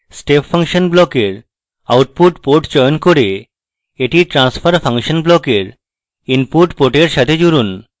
step function ব্লকের output port চয়ন করে এটি transfer function ব্লকের input port সাথে জুড়ুন